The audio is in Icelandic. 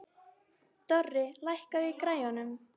Dorri, lækkaðu í græjunum.